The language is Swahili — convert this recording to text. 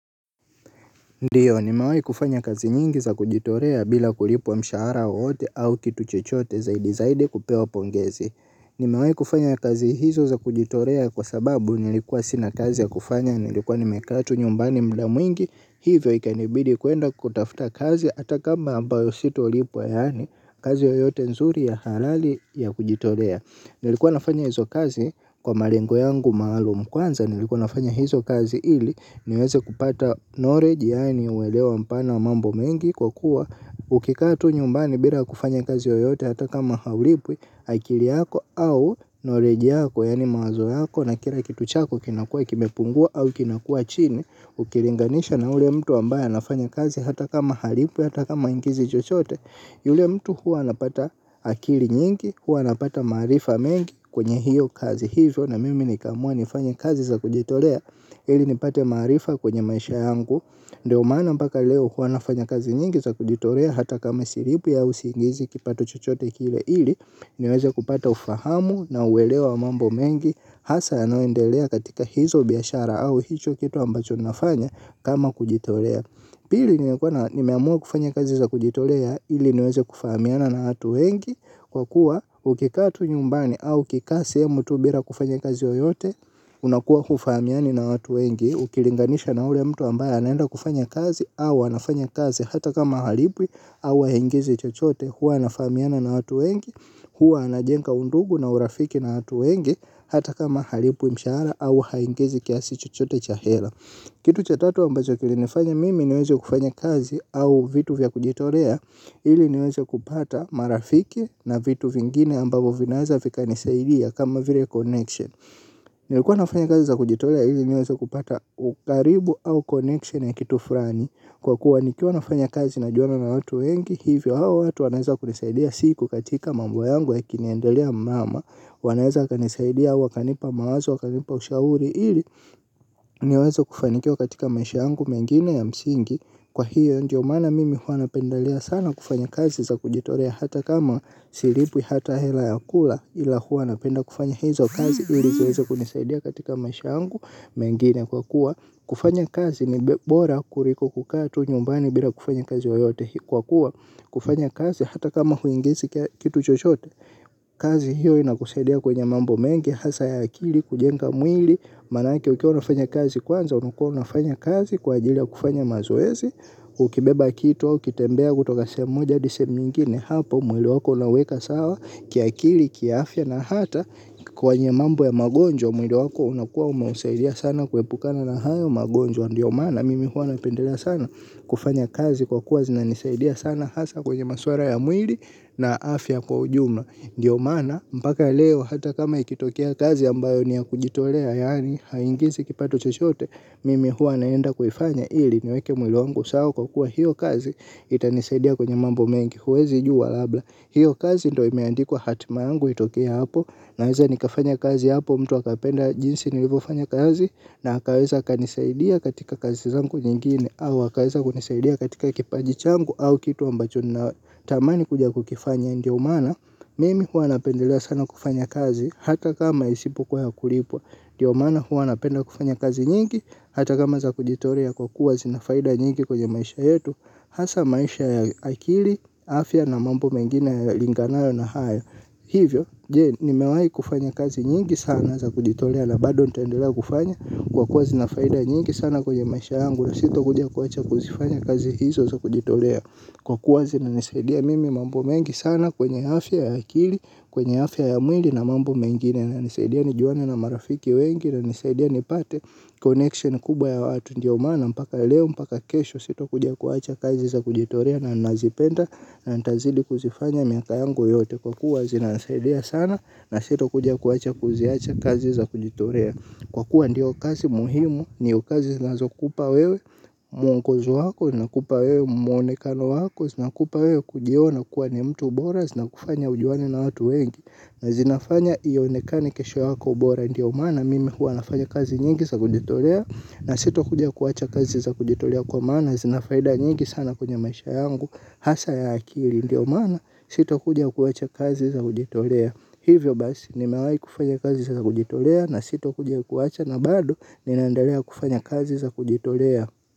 Ndio nimewai kufanya kazi nyingi za kujitolea bila kulipwa mshahara wowote au kitu chochote zaidi zaidi kupewa pongezi. Nimewai kufanya kazi hizo za kujitolea kwa sababu nilikuwa sina kazi ya kufanya nilikuwa nimekaa tu nyumbani muda mwingi hivyo ikanibidi kuenda kutafuta kazi hata kama ambayo sitolipwa yaani kazi yoyote nzuri ya halali ya kujitolea. Nilikuwa nafanya hizo kazi kwa malengo yangu maalum kwanza nilikuwa nafanya hizo kazi ili niweze kupata knowledge yaani uelewa mpana wa mambo mengi kwa kuwa ukikaa tu nyumbani bila kufanya kazi yoyote hata kama haulipwi akili yako au knowledge yako yaani mawazo yako na kila kitu chako kinakuwa kimepungua au kinakuwa chini ukilinganisha na ule mtu ambaye anafanya kazi hata kama halipwi hata kama haingizi chochote. Yule mtu huwa anapata akili nyingi, huwa anapata maarifa mengi kwenye hiyo kazi hivyo na mimi nikaamua nifanye kazi za kujitolea ili nipate maarifa kwenye maisha yangu. Ndio maana mpaka leo huwa nafanya kazi nyingi za kujitolea hata kama silipwi au siingizi kipato chochote kile ili niweze kupata ufahamu na uelewa wa mambo mengi. Hasa yanayoendelea katika hizo biashara au hicho kito ambacho nafanya kama kujitolea. Pili nimeamua kufanya kazi za kujitolea ili niweze kufahamiana na hatu wengi kwa kuwa ukikaa tu nyumbani au ukikaa sehemu tu bila kufanya kazi yoyote unakuwa hufahamiani na hatu wengi ukilinganisha na ule mtu ambaye anaenda kufanya kazi au anafanya kazi hata kama halipwi au haingizi chochote huwa anafahamiana na hatu wengi huwa anajenga undugu na urafiki na watu wengi hata kama halipwi mshahara au haingizi kiasi chochote cha hela. Kitu cha tatu ambacho kilinifanya mimi niweze kufanya kazi au vitu vya kujitolea ili niweze kupata marafiki na vitu vingine ambavo vinaweza vikanisaidia kama vile connection. Nilikuwa nafanya kazi za kujitolea ili niweze kupata ukaribu au connection ya kitu fulani. Kwa kuwa nikiwa nafanya kazi najuana na watu wengi hivyo hao watu wanaweza kunisaidia siku katika mambo yangu yakiniendelea mrama wanaweza wakanisaidia wakanipa mawazo wakanipa ushauri ili niweze kufanikiwa katika maisha yangu mengine ya msingi kwa hiyo ndio maana mimi huwa napendelea sana kufanya kazi za kujitolea hata kama silipwi hata hela ya kula ila huwa napenda kufanya hizo kazi ili ziweze kunisaidia katika maisha yangu mengine kwa kuwa kufanya kazi ni bora kuliko kukaa tu nyumbani bila kufanya kazi yoyote kwa kuwa kufanya kazi hata kama huingizi kitu chochote. Kazi hiyo inakusaidia kwenye mambo mengi. Hasa ya akili kujenga mwili. Maanake ukiwa unafanya kazi kwanza. Unukuwa unafanya kazi kwa ajili ya kufanya mazoezi. Ukibeba kito ukitembea kutoka sehemu moja hadi sehemu nyingine hapo mwili wako unauweka sawa kiakili kiafya na hata kwenye mambo ya magonjwa mwili wako unakuwa umeusaidia sana kuepukana na hayo magonjwa. Ndio maana mimi huwa napendelea sana. Kufanya kazi kwa kuwa zinanisaidia sana. Hasa kwenye maswala ya mwili na afya kwa ujumla. Ndio maana mpaka leo hata kama ikitokea kazi ambayo ni ya kujitolea yaani haiingizi kipato chochote mimi huwa naenda kuifanya ili niweke mwili wangu sawa kwa kuwa hiyo kazi itanisaidia kwenye mambo mengi huwezi jua labla. Hiyo kazi ndo imeandikwa hatima yangu itokee hapo. Naweza nikafanya kazi hapo mtu akapenda jinsi nilivyofanya kazi na akaweza akanisaidia katika kazi zangu nyingine. Au akaweza kunisaidia katika kipaji changu au kitu ambacho ninatamani kuja kukifanya. Ndio maana, mimi huwa napendelea sana kufanya kazi. Hata kama isipokuwa ya kulipwa. Ndio maana huwa napenda kufanya kazi nyingi. Hata kama za kujitolea kwa kuwa zina faida nyingi kwenye maisha yetu. Hasa maisha ya akili, afya na mambo mengine yalinganayo na hayo hivyo, je, nimewahi kufanya kazi nyingi sana za kujitolea. Na bado nitaendelea kufanya kwa kuwa zina faida nyingi sana kwenye maisha yangu na sitokuja kuwacha kuzifanya kazi hizo za kujitolea. Kwa kuwa zinanisaidia mimi mambo mengi sana kwenye afya ya akili kwenye afya ya mwinli na mambo mengine yananisaidia nijuane na marafiki wengi na nisaidia nipate connection kubwa ya watu. Ndio maana mpaka leo mpaka kesho sitokuja kuwacha kazi za kujitolea na nazipenda na nitazidi kuzifanya miaka yangu yote kwa kuwa zinanisaidia sana na sitokuja kuwacha kuziacha kazi za kujitolea. Kwa kuwa ndiyo kazi muhimu ndio kazi zinazokupa wewe muongozo wako zinakupa wewe muonekano wako zinakupa wewe kujiona kuwa ni mtu bora zinakufanya ujuane na watu wengi. Na zinafanya ionekane kesho yako bora ndio maana mimi hua nafanya kazi nyingi za kujitolea na sitokuja kuwacha kazi za kujitolea kwa maana na zina faida nyingi sana kwenye maisha yangu hasa ya akili ndio umana sitokuja kuwacha kazi za kujitolea hivyo basi nimawahi kufanya kazi za kujitolea na sitokuja kuwacha na bado ninaendalea kufanya kazi za kujitolea.